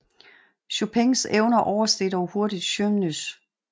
Chopins evner oversteg dog hurtigt Żywnys